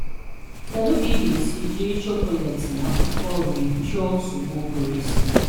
Kedụ ka ị ga esi jiri chocolate na-akwụkwọ nri chụọ nsogbụ ụbụrụisi?